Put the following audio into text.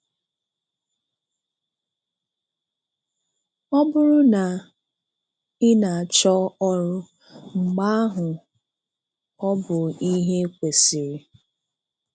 Ọ bụrụ na ị na-achọ ọrụ, mgbe ahụ ọ bụ ihe kwesịrị.